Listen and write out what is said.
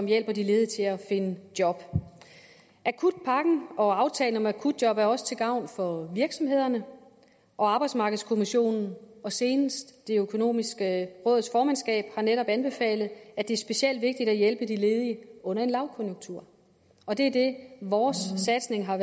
hjælper de ledige til at finde job akutpakken og aftalen om akutjob er også til gavn for virksomhederne og arbejdsmarkedskommissionen og senest det økonomiske råds formandskab har netop anbefalet at det specielt er vigtigt at hjælpe de ledige under en lavkonjunktur det er det vores satsning har